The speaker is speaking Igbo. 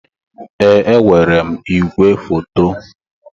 Ee, enwere m ìgwè foto.